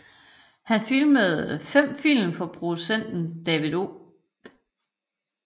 Han filmede fem film for produceren David O